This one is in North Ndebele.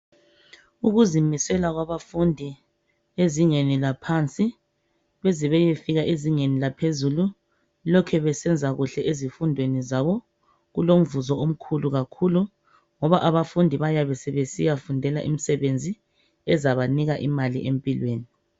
Ukuzimisela kwabafundi ezingeni laphansi bezebeyefika ezingeni laphezulu lokhe besenza kuhle ezifundweni zabo, kulomvuzo omkhulu kakhulu ngoba abafundi bayabe sebesiyafundela imsebenzi ezabanika imali empilweni.